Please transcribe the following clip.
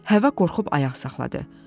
Həvva qorxub ayaq saxladı.